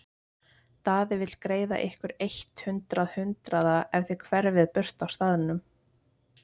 Daði vill greiða ykkur eitt hundrað hundraða ef þið hverfið burt af staðnum.